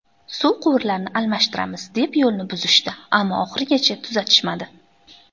Suv quvurlarini almashtiramiz, deb yo‘lni buzishdi, ammo oxirigacha tuzatishmadi.